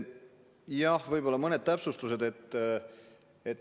Jah, võib-olla mõned täpsustused.